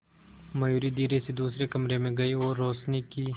मयूरी धीरे से दूसरे कमरे में गई और रोशनी की